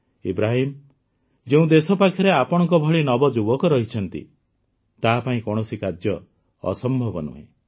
ଇବ୍ରାହିମ୍ ଯେଉଁ ଦେଶ ପାଖରେ ଆପଣଙ୍କ ଭଳି ନବଯୁବକ ରହିଛନ୍ତି ତାହା ପାଇଁ କୌଣସି କାର୍ଯ୍ୟ ଅସମ୍ଭବ ନୁହେଁ